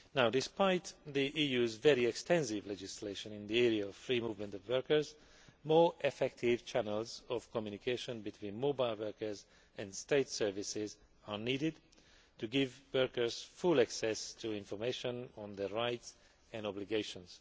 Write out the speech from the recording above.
Despite the EU's very extensive legislation in the area of free movement of workers, more effective channels of communication between mobile workers and state services are needed to give workers full access to information on their rights and obligations.